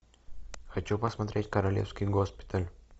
хочу посмотреть королевский госпиталь